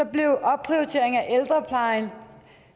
blev opprioritering af ældreplejen